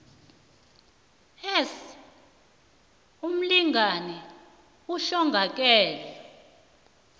s umlingani ohlongakele